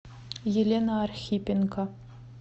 елена архипенко